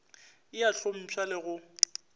e a hlompšha le go